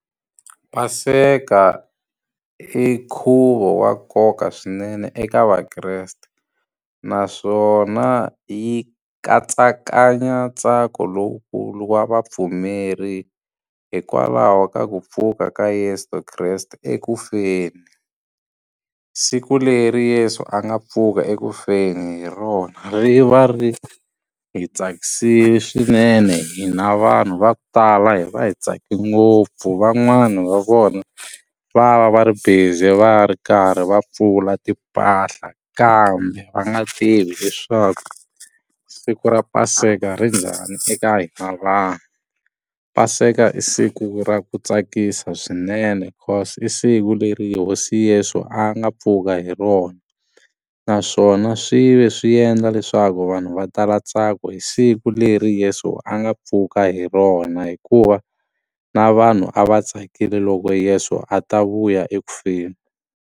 Paseka i nkhuvo wa nkoka swinene eka vakreste naswona yi katsakanya ntsako lowukulu wa vapfumeri hikwalaho ka ku pfuka ka Yeso Kreste ekufeni siku leri Yeso a nga pfuka ekufeni hi rona ri va ri hi tsakisile swinene hina vanhu va ku tala hi va hi tsake ngopfu van'wani va vona va va va ri busy va ri karhi va pfula timpahla kambe va nga tivi leswaku siku ra paseka ri njhani eka hina vanhu, paseka i siku ra ku tsakisa swinene i siku leri hosi Yeso a nga pfuka hi rona naswona swi ve swi endla leswaku vanhu va tala ntsako hi siku leri Yeso a nga pfuka hi rona hikuva na vanhu a va tsakile loko Yeso a ta vuya ekufeni.